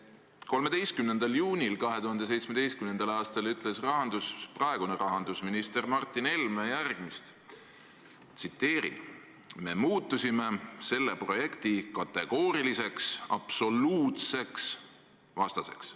13. juunil 2017. aastal ütles praegune rahandusminister Martin Helme järgmist: "Me muutusime selle projekti kategooriliseks, absoluutseks vastaseks.